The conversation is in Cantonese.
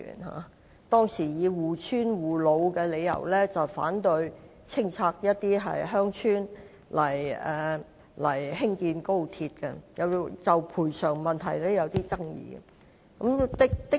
他們以護村護老為由，反對清拆鄉村興建高鐵，亦就賠償問題有所爭議。